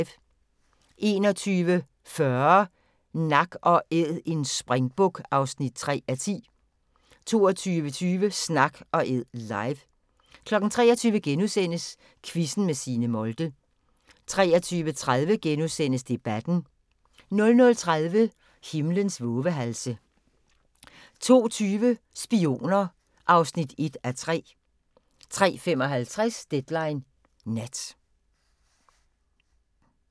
21:40: Nak & Æd – en springbuk (3:10) 22:20: Snak & Æd – live 23:00: Quizzen med Signe Molde * 23:30: Debatten * 00:30: Himlens vovehalse 02:20: Spioner (1:3) 03:55: Deadline Nat